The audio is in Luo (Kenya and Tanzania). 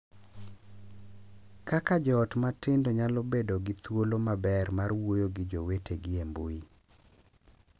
Kaka jo ot matindo nyalo bedo gi thuolo maber mar wuoyo gi jowetegi e mbui